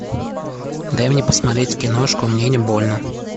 дай мне посмотреть киношку мне не больно